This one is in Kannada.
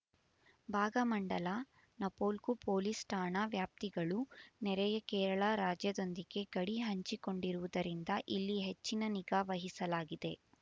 ಭಾಗಮಂಡಲ ನಾಪೋಕ್ಲು ಪೊಲೀಸ್ ಠಾಣಾ ವ್ಯಾಪ್ತಿಗಳು ನೆರೆಯ ಕೇರಳ ರಾಜ್ಯದೊಂದಿಗೆ ಗಡಿ ಹಂಚಿಕೊಂಡಿರುವುದರಿಂದ ಇಲ್ಲಿ ಹೆಚ್ಚಿನ ನಿಗಾ ವಹಿಸಲಾಗಿದೆ